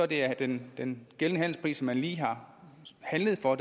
det er den den gældende handelspris som man lige har handlet for